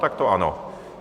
Tak to ano.